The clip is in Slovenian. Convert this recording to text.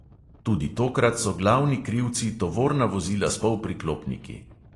Tudi tokrat so glavni krivci tovorna vozila s polpriklopniki.